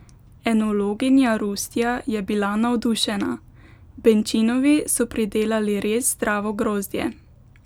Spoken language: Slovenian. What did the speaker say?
Enologinja Rustja je bila navdušena: "Benčinovi so pridelali res zdravo grozdje.